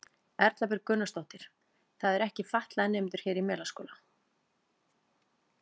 Erla Björg Gunnarsdóttir: Það eru ekki fatlaðir nemendur hér í Melaskóla?